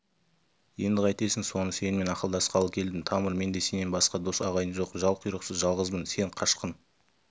енді қайтесің соны сенімен ақылдасқалы келдім тамыр менде сенен басқа дос-ағайын жоқ жал-құйрықсыз жалғызбын сен қашқын